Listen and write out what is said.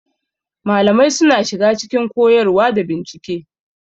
Malamai suna shiga cikin koyarwa da bincike.